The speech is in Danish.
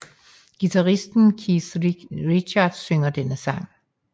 Guitaristen Keith Richards synger denne sang